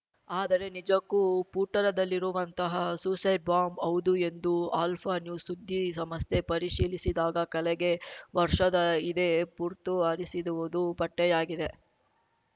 ಆದರೆ ನಿಜಕ್ಕೂ ಪೂಟೂರದಲ್ಲಿರುವಂತಹ ಸೂಸೈಡ್‌ ಬಾಂಬ್ ಹೌದು ಎಂದು ಆಲ್ಫ ನ್ಯೂಸ್‌ ಸುದ್ದಿ ಸಮಸ್ಥೆ ಪರಿಶೀಲಿಸಿದಾಗ ಕಳೆಗೆ ವರ್ಷದ ಇದೇ ಪುರ್ತು ಹರಿಸಿರುದುವುದು ಪಟ್ಟೆಯಾಗಿದೆ